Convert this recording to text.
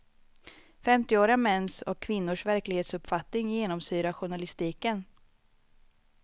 Femtioåriga mäns och kvinnors verklighetsuppfattning genomsyrar journalistiken.